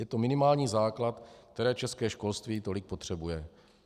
Je to minimální základ, který české školství tolik potřebuje.